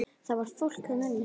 Það var fólk þarna inni!